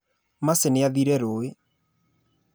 Macĩ nĩathire rũĩ.